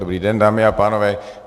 Dobrý den, dámy a pánové.